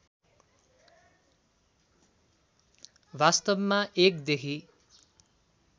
वास्तवमा ०१ देखि